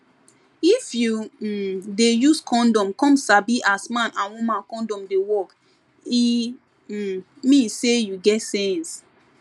if you um dey use condom come sabi as man and woman condom dey work e um mean say you get sense